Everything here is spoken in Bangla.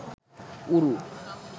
উরু